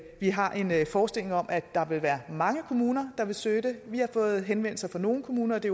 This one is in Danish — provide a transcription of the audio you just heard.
vi har en en forestilling om at der vil være mange kommuner der vil søge det vi har fået henvendelser fra nogle kommuner og det